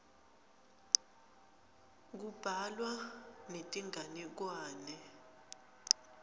kubhalwa netinganekwane